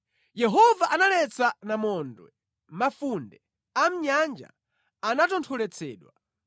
Yehova analetsa namondwe, mafunde a mʼnyanja anatontholetsedwa.